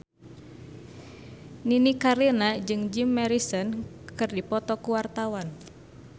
Nini Carlina jeung Jim Morrison keur dipoto ku wartawan